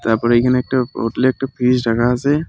তারপরে এইখানে একটা হোটেলে একটা ফ্রিজ রাখা আসে।